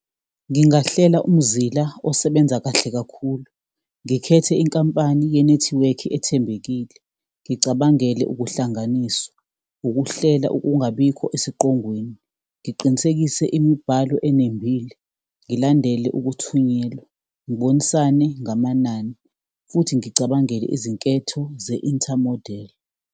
Ngingahlela umzila osebenza kahle kakhulu, ngikhethe inkampani yenethiwekhi ethembekile. Ngicabangele ukuhlanganiswa, ukuhlela ukungabikho esiqongweni, ngiqinisekise imibhalo enembile, ngilandele ukuthunyelwa, ngibonisane ngamanani, futhi ngicabangele izinketho ze-inter-model.